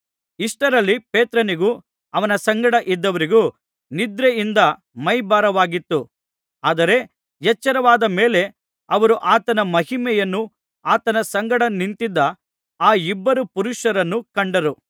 ಇಷ್ಟರಲ್ಲಿ ಪೇತ್ರನಿಗೂ ಅವನ ಸಂಗಡ ಇದ್ದವರಿಗೂ ನಿದ್ರೆಯಿಂದ ಮೈಭಾರವಾಗಿತ್ತು ಆದರೆ ಎಚ್ಚರವಾದ ಮೇಲೆ ಅವರು ಆತನ ಮಹಿಮೆಯನ್ನೂ ಆತನ ಸಂಗಡ ನಿಂತಿದ್ದ ಆ ಇಬ್ಬರು ಪುರುಷರನ್ನೂ ಕಂಡರು